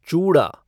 चूड़ा